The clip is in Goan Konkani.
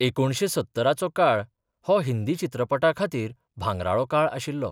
एकुणशे सत्तराचो काळ हो हिंदी चित्रपटां खातीर भांगराळो काळ आशिल्लो.